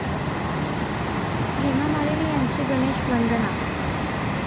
हेमामालिनी यांची 'गणेश वंदना'